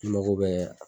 I mago bɛ